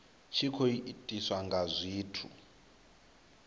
tshi khou itiswa nga zwithu